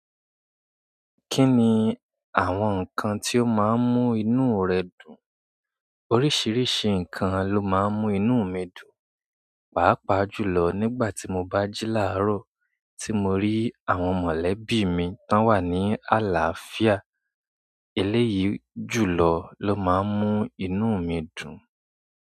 Kí ni àwọn nǹkan tí ó máa ń mú inú rẹ dùn? Oríṣiríṣi nǹkan ló máa ń mú inú mi dùn, pàápàá jùlọ nígbà tí mo bá jí láàárọ̀ tí mo rí àwọn mọ̀lẹ́bí mi tó wà ní àlàáfíà. Eléyìí jùlọ ló máa ń mú inú mi dùn.